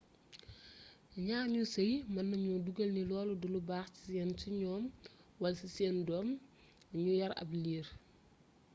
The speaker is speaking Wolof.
ñaar ñuy sey mën nañu dogal ni loolu du lu baax ci ñoom wala ci seen doom ñu yar ab liir